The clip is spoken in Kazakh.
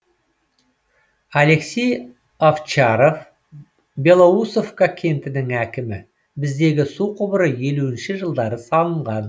алексей овчаров белоусовка кентінің әкімі біздегі су құбыры елуінші жылдары салынған